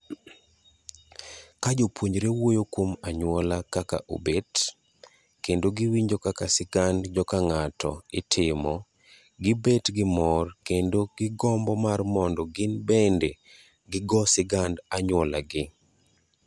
Ka jopuonjre wuoyo kuom anyuola kaka obet, kendo giwinjo kaka sigand jokang'ato itimogibet gimor kendo gombo mar mondo gin bende gigo sigand ANYUOLAGI.